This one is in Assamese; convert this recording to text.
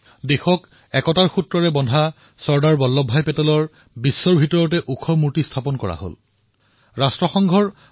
দেশক ঐক্যবদ্ধ কৰি ৰখা চৰ্দাৰ বল্লভভাই পেটেলৰ সন্মানত বিশ্বৰ সবাতোকৈ বৃহৎ মুৰ্তি ষ্টেচু অব্ ইউনিটী দেশে লাভ কৰিছে